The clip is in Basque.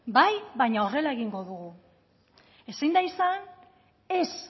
bai baina horrela egingo dugu ezin da izan ez